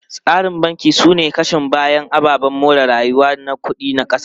Tsarin banki sune kashin bayan ababen more rayuwa na kudi na kasa.